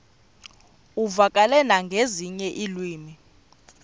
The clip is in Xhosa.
uvakale nangezinye iilwimi